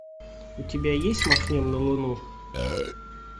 у тебя есть махнем на луну